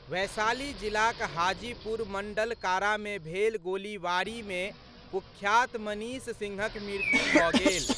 वैशाली जिलाक हाजीपुर मंडल कारा मे भेल गोलीबारी मे कुख्यात मनीष सिंहक मृत्यु भऽ गेल।